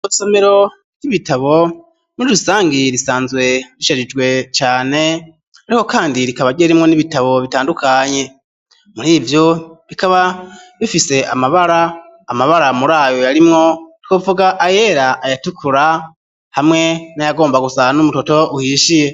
Isomero ry'ibitabo muri rusangi risanzwe risharijwe cane ariko kandi rikaba rimwo n'ibitabo bitandukanye murivyo bikaba bifise amabara, Amabara murayo yarimwo twovuga ayera ayatukura hamwe naya gomba gusa n'umutoto uhishiye.